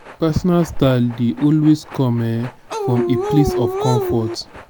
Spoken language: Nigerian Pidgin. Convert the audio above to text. personal style de also come um from a place of comfort